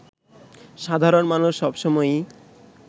সাধারণ মানুষ সব সময়ই